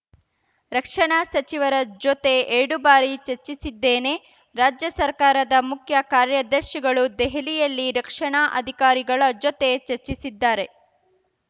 ರಕ್ಷಣಾ ಸಚಿವರ ಜೊತೆ ಎರಡು ಬಾರಿ ಚರ್ಚಿಸಿದ್ದೇನೆ ರಾಜ್ಯ ಸರ್ಕಾರದ ಮುಖ್ಯ ಕಾರ್ಯದರ್ಶಿಗಳು ದೆಹಲಿಯಲ್ಲಿ ರಕ್ಷಣಾ ಅಧಿಕಾರಿಗಳ ಜೊತೆ ಚರ್ಚಿಸಿದ್ದಾರೆ